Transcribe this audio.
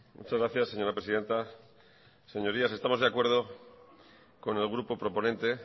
muchas gracias señora presidenta señorías estamos de acuerdo con el grupo proponente